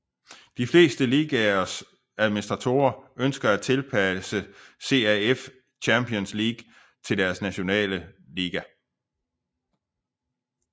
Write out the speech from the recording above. De fleste ligaers administratorer ønsker at tilpasse CAF Champions League til deres nationale liga